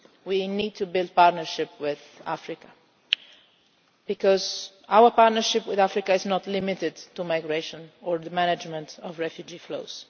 We need to build a partnership with Africa, because our partnership with Africa is not limited to migration or the management of refugee flows.